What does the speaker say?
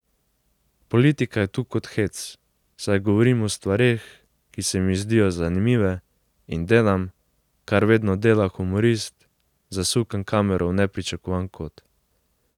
Politika je tu kot hec, saj govorim o stvareh, ki se mi zdijo zanimive, in delam, kar vedno dela humorist, zasukam kamero v nepričakovan kot.